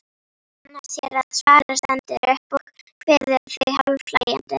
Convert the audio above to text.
Ragna sér að svara, stendur upp og kveður þau hálfhlæjandi.